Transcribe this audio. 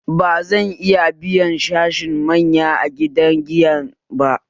Bazan iya biyan sashen manya a gidan giyan ba